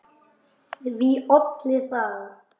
Því olli það